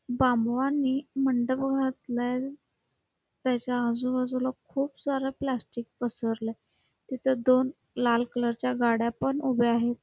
बांबवांनी मंडप घातलाय त्याच्या आजूबाजूला खुप सार प्लॅस्टिक पसरलय तिथ दोन लाल कलर च्या गाड्या पण उभ्या आहेत.